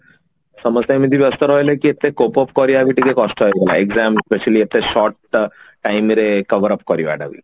ସମସ୍ତେ ଏତେ ବ୍ୟସ୍ତ ରହିଲେ କି ଏତେ cope up କରିବା ବି କଷ୍ଟ ହେଇଗଲା exam specially ଏତେ short time ରେ coverup କରିବା ଟା ବି